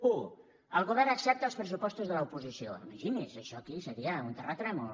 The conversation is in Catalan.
u el govern accepta els pressupostos de l’oposició imagini’s això aquí seria un terratrèmol